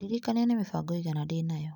Ndirikania nĩ mĩbango ĩigana ndĩ nayo .